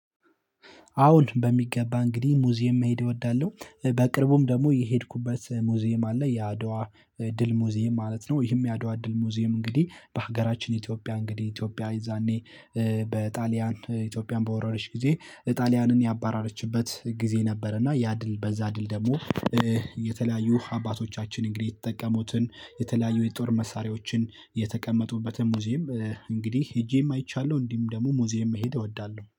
አወን በሚገባ እንግዲህ ሙዚየም መሄድ እወዳለሁ በቅርቡም ደግሞ የሄድኩበት ሙዚየም አለ የአድዋ ድል ሙዚየም ማለት ነው። ይህም የአድዋ ድል ሙዚየም እንግዲህ በሀገራችን ኢትዮጵያ እንግዲህ ኢትዮጵያ የዛኔ በጣሊያን ኢትዮጵያን በወረረች ጊዜ ጣሊያንን ያባራረችበት ጊዜ ነበር። እና ያ ድል በዛ ድል ደግሞ የተለያዩ አባቶቻችን እንግዲህ የተጠቀሙትን የተለያዩ የጦር መሳሪያዎችን የተቀመጡበትን ሙዚየም እንግዲህ ሄጄም አይቻለሁ። እንዲሁም ደግሞ ሙዚየም መሄድ እወዳለሁ